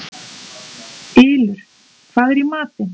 Ylur, hvað er í matinn?